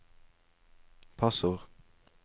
passord